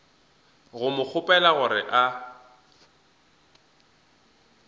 go mo kgopela gore a